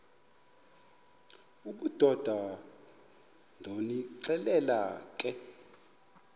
obudoda ndonixelela ke